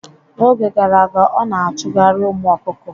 N'oge gara aga, ọ na-achụgharị ụmụ ọkụkọ